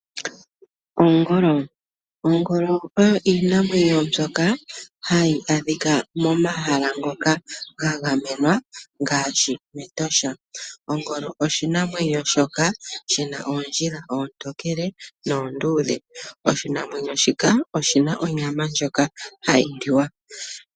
Ogoolo, Ogoolo oyo iinamwenyo mbyoka hayi adhika momahala ngoka ngangamenwa ngashi metosha, Ogoolo oshinamwenyo shoka shina ondjiila otokele nondudhe, oshinamwenyo shika oshina onyama ndjoka hayiliwa.